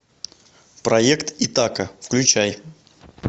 проект итака включай